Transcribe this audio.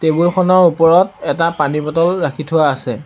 টেবুলখনৰ ওপৰত এটা পানী বটল ৰাখি থোৱা আছে।